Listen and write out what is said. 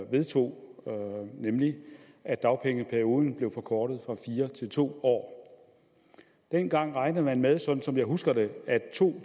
vedtog nemlig at dagpengeperioden blev forkortet fra fire år til to år dengang regnede man med sådan som jeg husker det at to